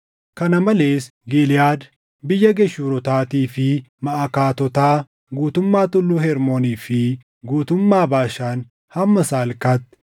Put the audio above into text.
Kana malees Giliʼaad, biyya Geshuurotaatii fi Maʼakaatotaa, guutummaa Tulluu Hermoonii fi guutummaa Baashaan hamma Salkaatti